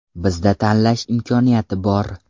Bizda tanlash imkoniyati bor.